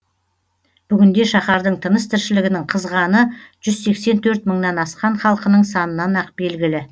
бүгінде шаһардың тыныс тіршілігінің қызғаны жүз сексен төрт мыңнан асқан халқының санынан ақ белгілі